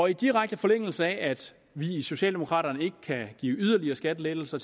i direkte forlængelse af at vi i socialdemokraterne ikke kan give yderligere skattelettelser